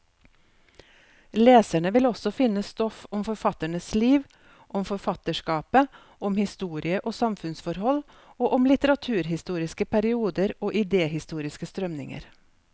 Leserne vil også finne stoff om forfatternes liv, om forfatterskapet, om historie og samfunnsforhold, og om litteraturhistoriske perioder og idehistoriske strømninger.